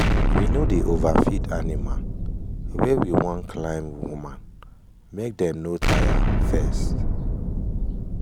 we no dey overfeed animal wey we wan climb woman make dem no tire fast.